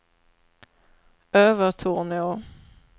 Övertorneå